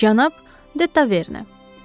Cənab de Taverne.